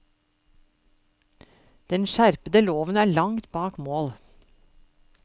Den skjerpede loven er langt bak mål.